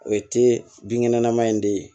O ye te binkɛnɛma in de ye